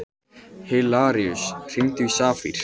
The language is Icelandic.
Hilaríus, hringdu í Safír.